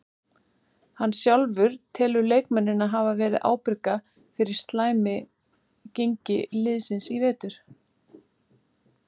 Hann sjálfur telur leikmennina hafa verið ábyrga fyrir slæmi gengi liðsins í vetur.